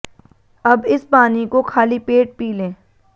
अब इस पानी को खाली पेट पी लें